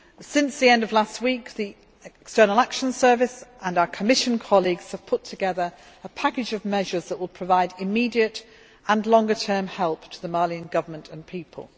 Since the end of last week, the External Action Service and our Commission colleagues have put together a package of measures that will provide immediate and longer term help to the Malian Government and people.